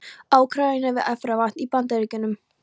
Úkraínu og við Efravatn í Bandaríkjunum.